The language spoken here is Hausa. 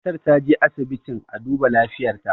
matar ta je asibitin a duba lafiyarta